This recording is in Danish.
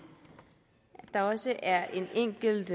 at der også er en enkelt